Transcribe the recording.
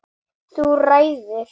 Þú ræður!